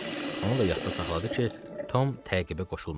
Onu da yadda saxladı ki, Tom təqibə qoşulmadı.